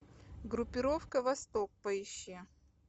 группировка восток поищи